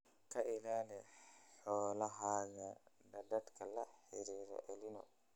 Ka ilaali xoolahaaga daadadka la xiriira El Niño.